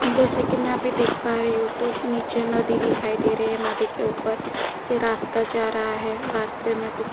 जैसा की में यहाँ पे देख पा रही हू तो नीचे नदी दिखाई दे रही है नदी के उपर से रास्ता जा रहा है रास्ते में कुछ --